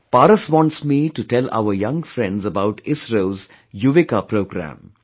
Paras wants me to tell our young friends about ISRO's 'Yuvika' programme